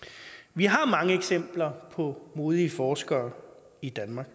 vi har mange eksempler på modige forskere i danmark